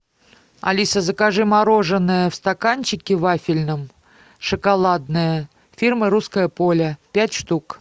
алиса закажи мороженное в стаканчике вафельном шоколадное фирмы русское поле пять штук